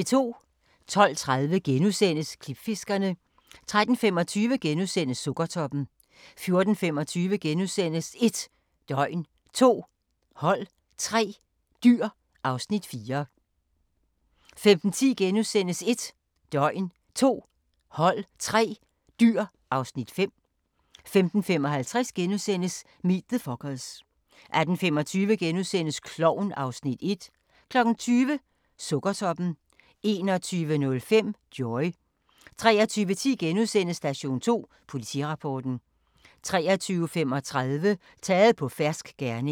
12:30: Klipfiskerne * 13:25: Sukkertoppen * 14:25: 1 døgn, 2 hold, 3 dyr (Afs. 4)* 15:10: 1 døgn, 2 hold, 3 dyr (Afs. 5)* 15:55: Meet the Fockers * 18:25: Klovn (Afs. 1)* 20:00: Sukkertoppen 21:05: Joy 23:10: Station 2: Politirapporten * 23:35: Taget på fersk gerning